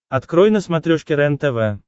открой на смотрешке рентв